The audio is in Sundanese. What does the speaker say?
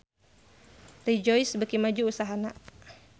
Rejoice beuki maju usahana